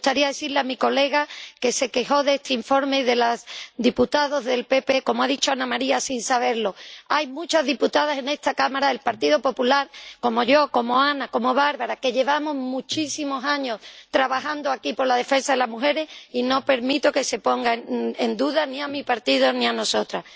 Me gustaría decirle a la colega que, con motivo de este informe, se quejó de los diputados del PP que —como ha dicho Anna Maria— no sabe que hay muchas diputadas en esta Cámara del Partido Popular como yo, como Anna, como Barbara, que llevamos muchísimos años trabajando aquí por la defensa de las mujeres y no permito que se ponga en duda ni a mi partido ni a nosotras.